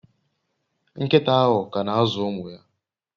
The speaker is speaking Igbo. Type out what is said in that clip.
Nkita ahu kana azu umu ya